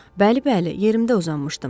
Bəli, bəli, yerimdə uzanmışdım.